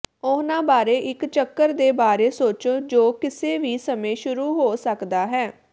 ਉਹਨਾਂ ਬਾਰੇ ਇਕ ਚੱਕਰ ਦੇ ਬਾਰੇ ਸੋਚੋ ਜੋ ਕਿਸੇ ਵੀ ਸਮੇਂ ਸ਼ੁਰੂ ਹੋ ਸਕਦਾ ਹੈ